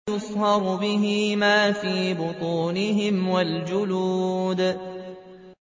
يُصْهَرُ بِهِ مَا فِي بُطُونِهِمْ وَالْجُلُودُ